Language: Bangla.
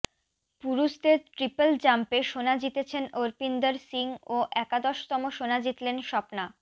পুরুষদের ট্রিপল জাম্পে সোনা জিতেছেন অর্পিন্দর সিং ও একাদশতম সোনা জিতলেন স্বপ্না